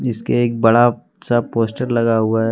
इसके एक बड़ा सा पोस्टर लगा हुआ है।